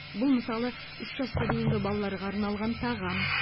бұл мысалы үш жасқа дейінгі балаларға арналған тағам